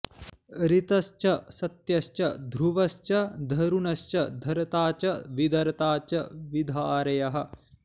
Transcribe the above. ऋ॒तश्च॑ स॒त्यश्च॑ ध्रु॒वश्च॑ ध॒रुण॑श्च ध॒र्ता च॑ विध॒र्ता च॑ विधार॒यः